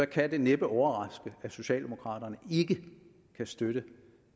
kan det næppe overraske at socialdemokraterne ikke kan støtte